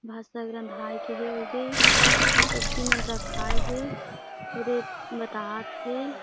भात-साग रंधाय के हे उदे सब्जी में रखाए हे ओदे बतात हे।